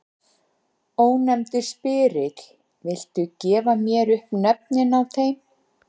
Ónefndur spyrill: Viltu gefa mér upp nöfnin á þeim?